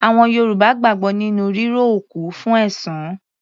Àwọn Yorùbá gbàgbọ́ nínú ríró òkú fún ẹ̀san.